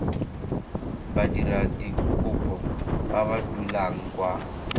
badiradikopo ba ba dulang kwa